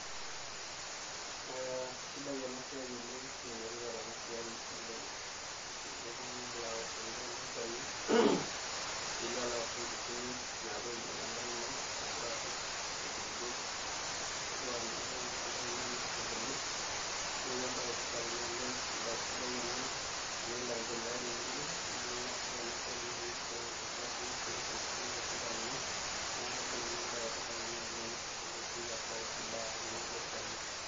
Ee kaisidai enasia oleng na enetipat enasiai oleng tenelo oltungani aosh nkaitubulu olchani pilo alo arishie nkukuni napuo ainyal ino nepik ududot, asha napuo ainyal endaa ino neaku embae etipat embae sidai ena tenelo aendelea temurua amu ore enasiai na keti olchafu netii nkukuni olchamba lino nakajo embae etipat ena oleng tenepuoi apuo aosh endaa olchani.